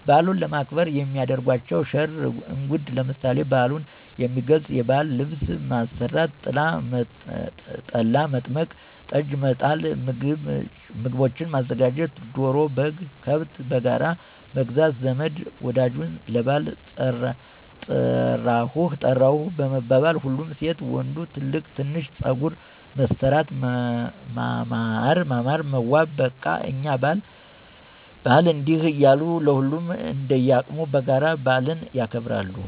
በዓሉንም ለማክበር የሚያደርጓቸዉ ሽር እንጉድ ለምሳሌ፦ በዓሉን የሚገልፅ የባዕል ልብስ ማሰራት፣ ጠላ፣ መጥመቅ፣ ጠጅ፣ መጣል፣ ምግቦችን ማዘጋጀት፣ ዶሮ፣ በግ፣ ከብት በጋራ መግዛት ዘመድ ወዳጁን ለባዕል ጠራሁህ መባባል፣ ሁሉም ሴት ወንዱ ትልቅ ትንሹ ፀጉር መሠራት ማማር መዋብ በቃ የእኛ በዓል እንዲህ እያሉ ሁሉም እንደየቅሙ በጋራ በአልን ያከብራል።